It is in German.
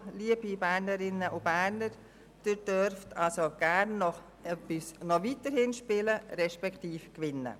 Deshalb, lieber Bernerinnen und Berner: Sie dürfen gerne weiterhin spielen respektive gewinnen.